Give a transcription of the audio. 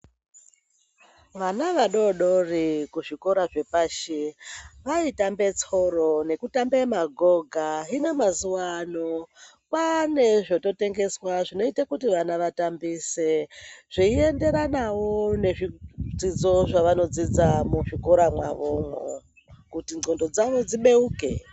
Vana vadodori kuzvikora zvepashi, vaitambe tsoro nekutambe magoga. Hino mazuwaano ,kwaane zvototengeswa zvinoite kuti vana vatambise, zveienderanawo nezvidzidzo zvavanoodzidza muzvikora mwavomwo, kuti ndxondo dzavo dzibeuke.